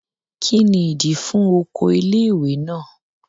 Kí ni ìdí i fún oko ilé ìwé náà?